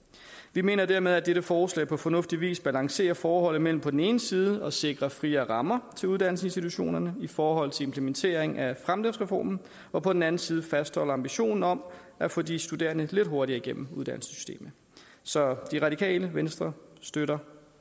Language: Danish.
vi mener dermed at dette forslag på fornuftig vis balancerer forholdet mellem på den ene side at sikre friere rammer til uddannelsesinstitutionerne i forhold til implementering af fremdriftsreformen og på den anden side fastholder ambitionen om at få de studerende lidt hurtigere igennem uddannelsessystemet så radikale venstre støtter